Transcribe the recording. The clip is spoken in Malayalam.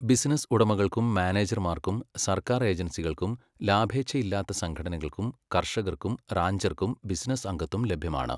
ബിസിനസ്സ് ഉടമകൾക്കും മാനേജർമാർക്കും സർക്കാർ ഏജൻസികൾക്കും ലാഭേച്ഛയില്ലാത്ത സംഘടനകൾക്കും കർഷകർക്കും റാഞ്ചർക്കും ബിസിനസ്സ് അംഗത്വം ലഭ്യമാണ്.